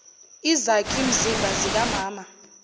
izakhi mzimba zikamama